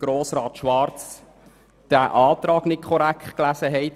Grossrat Schwarz hat unseren Antrag tatsächlich nicht korrekt gelesen.